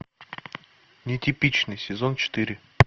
нетипичный сезон четыре